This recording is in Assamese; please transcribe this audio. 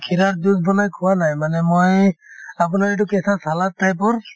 kheera ৰৰ juice বনাই খোৱা নাই মানে মই আপোনাৰ এইটো কেঁচা salad type ৰ